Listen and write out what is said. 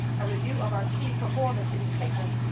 a review of our key performance indicators